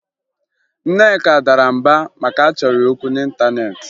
Nneka dara mbà maka na a chọrọ ya okwu n'ịntaneetị